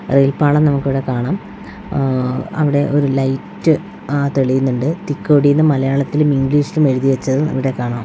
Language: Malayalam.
റെയിൽ പാളം നമുക്ക് ഇവിടെ കാണാം ഏഹ് അവിടെ ഒരു ലൈറ്റ് ഏഹ് തെളിയുന്നുണ്ട് തിക്കോടിന്ന് മലയാളത്തിലും ഇംഗ്ലീഷിലും എഴുതിവെച്ചത് അവിടെ കാണാം.